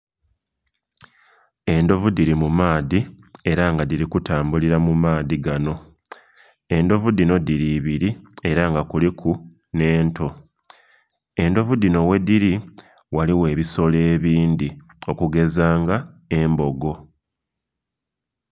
Endhovu dhiri mu maadhi era nga dhiri kutambulira mu maadhi gano. Endhovu dhino dhiri ibiri era nga kuliku nh'ento. Endhovu dhino ghedhili ghaligho ebisolo ebindhi, okugeza nga embogo.